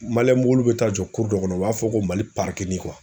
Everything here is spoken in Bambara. mobiliw bɛ taa jɔ dɔ kɔnɔ u b'a fɔ ko Mali